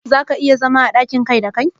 za ka iya zaunawa a dakin Kai kadai?